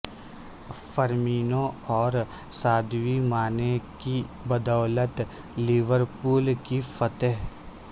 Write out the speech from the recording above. Firmino اور Sadio Mane کی بدولت لیورپول کی فتح